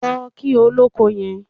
Lọ kí olóko yẹn.